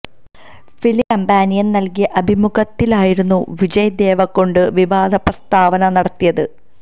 film കമ്പാനിയന് നല്കിയ അഭിമുഖത്തിലായിരുന്നു വിജയ് ദേവരകൊണ്ട വിവാദ പ്രസ്താവന നടത്തിയത്